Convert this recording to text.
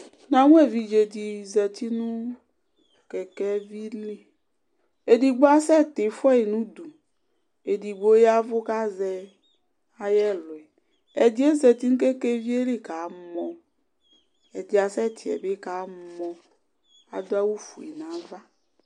Namʋ ɛvidze dibzati nʋ kɛkɛvi li edigbo asɛti fuayi nʋ ʋdʋ edigbo ya ɛvʋ kʋ azɛ ayʋ ɛlʋ ɛdi yɛ zati nʋ kɛkɛvi yɛli kamɔ ɛdiyɛ kasɛti yɛ bi kamɔ adʋ awʋfue nʋ ava